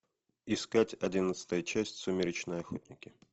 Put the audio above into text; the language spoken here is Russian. искать одиннадцатая часть сумеречные охотники